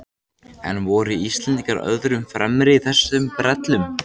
En voru Íslendingar öðrum fremri í þessum brellum?